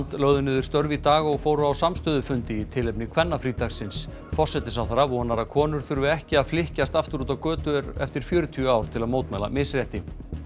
lögðu niður störf í dag og fóru á samstöðufundi í tilefni kvennafrídagsins forsætisráðherra vonar að konur þurfi ekki að flykkjast aftur út á götur eftir fjörutíu ár til að mótmæla misrétti